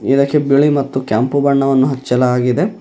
ಇದಕ್ಕೆ ಬಿಳಿ ಮತ್ತು ಕೆಂಪು ಬಣ್ಣವನ್ನು ಹಾಚ್ಚಲಾಗಿದೆ.